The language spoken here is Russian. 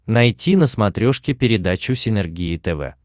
найти на смотрешке передачу синергия тв